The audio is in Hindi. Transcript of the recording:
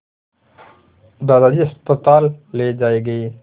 दादाजी अस्पताल ले जाए गए